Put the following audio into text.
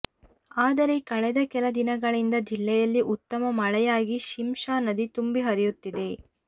ಆದರೆ ಕಳೆದ ಕೆಲ ದಿನಗಳಿಂದ ಜಿಲ್ಲೆಯಲ್ಲಿ ಉತ್ತಮ ಮಳೆಯಾಗಿ ಶಿಂಷಾ ನದಿ ತುಂಬಿ ಹರಿಯುತ್ತಿದೆ